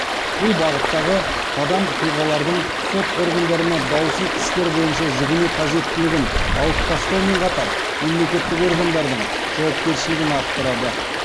бұл бағыттағы қадам тұлғалардың сот органдарына даусыз істер бойынша жүгіну қажеттілігін алып тастаумен қатар мемлекеттік органдардың жауапкершілігін арттырады